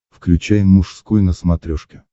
включай мужской на смотрешке